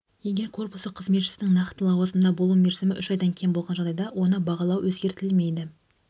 егер корпусы қызметшісінің нақты лауазымда болу мерзімі үш айдан кем болған жағдайда оны бағалау өткізілмейді